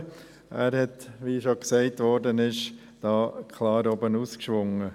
Er hat – wie bereits gesagt worden ist – klar «oben hinausgeschwungen».